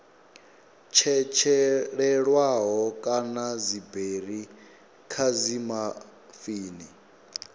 tshetshelelwaho kana dziberi kha dzimafini